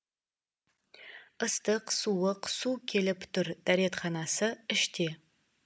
ыстық суық су келіп тұр дәретханасы іште